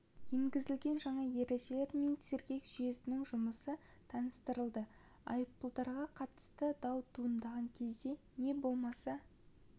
енгізілген жаңа ережелер мен сергек жүйесінің жұмысы таныстырылды айыппұлдарға қатысты дау туындаған кезде не болмаса